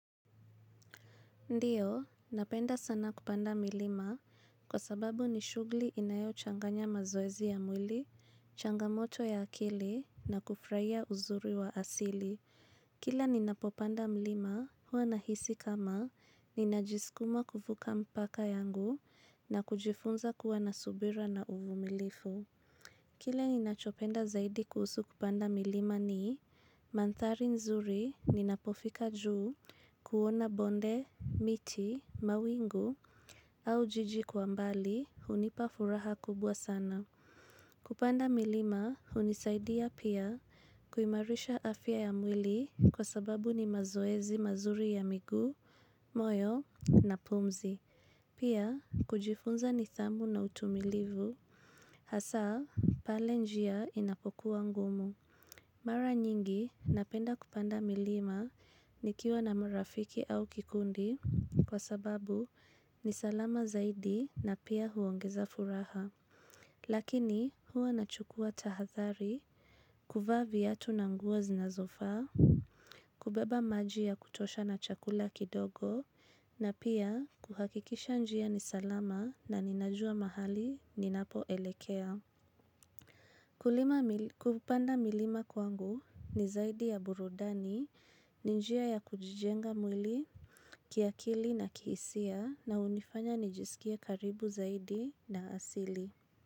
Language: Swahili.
Ndiyo, napenda sana kupanda milima kwa sababu ni shughuli inayo changanya mazoezi ya mwili, changamoto ya akili na kufurahia uzuri wa asili. Kila ninapopanda mlima huwa ninahisi kama ninajisukuma kufuva mpaka yangu na kujifunza kuwa na subira na uvumilivu. Kile ni nachopenda zaidi kuhusu kupanda milima ni, mandhari nzuri ni napofika juu kuona bonde, miti, mawingu au jijikwa mbali hunipafuraha kubwa sana. Kupanda milima hunisaidia pia kuimarisha afya ya mwili kwa sababu ni mazoezi mazuri ya miguu, moyo na pumzi. Pia kujifunza nidhamu na utumilivu, hasa pale njia inapokuwa ngumu. Mara nyingi napenda kupanda milima nikiwa na marafiki au kikundi kwa sababu nisalama zaidi na pia huongeza furaha. Lakini huwa nachukua tahadhari, kuvaa viatu na nguo zinazo faa, kubeba maji ya kutosha na chakula kidogo na pia kuhakikisha njia nisalama na ninajua mahali ninapo elekea. Kupanda milima kwangu ni zaidi ya burudani, ninjia ya kujijenga mwili, kiakili na kihisia na hunifanya nijisikie karibu zaidi na asili.